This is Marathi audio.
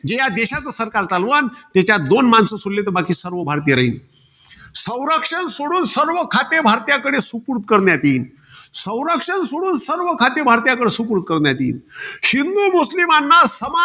जे या देशाचं सरकार चालवन, तेच्यात दोन माणसं सोडली तर बाकीचे सर्व भारतीय राहील. संरक्षण सोडून, सगळे खाते भारतीयांकडे सुपूर्त करण्यात येईल. संरक्षण सोडून, सगळे खाते भारतीयांकडे सुपूर्त करण्यात येईल. हिंदू, मुस्लिमांना समान